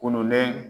Kɔnɔlen